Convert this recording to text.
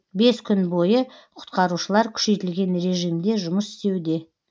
бес күн бойы құтқарушылар күшейтілген режимде жұмыс істеуде